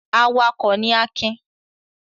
Awakọ̀ ni Akin.